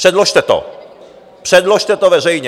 Předložte to, předložte to veřejně.